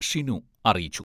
ഷിനു അറിയിച്ചു.